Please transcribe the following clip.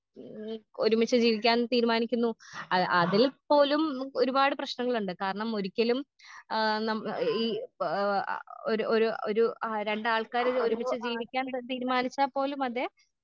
ഏ ഒരുമിച്ച് ജീവിക്കാൻ തീരുമാനിക്കുന്നു ആ അതിൽ പോലും ഒരുപാട് പ്രശ്നങ്ങളുണ്ട് കാരണം ഒരിക്കലും ആ നമ്മള് ഈ ആ ഒരു ഒരു ഒരു ആ രണ്ടാൾക്കാരൊരു ഒരുമിച്ച് ജീവിക്കാൻ തതീരുമാനിച്ചാൽ പോലും അതെ.